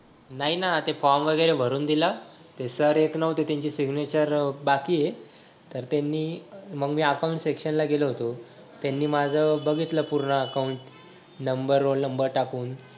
नाही ना ते form वगैरे भरून दिला ते sir येत नव्हते त्यांची signature बाकी हाय तर त्यांनी मंग मी account section ला गेलो होतो त्यांनी माझं बघितलं पूर्ण account number, roll number टाकून